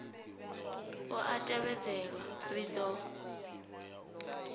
u a tevhedzelwa ri do